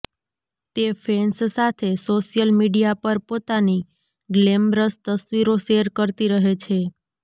તે ફેન્સ સાથે social media પર પોતાની ગ્લેમરસ તસવીરો શેર કરતી રહે છે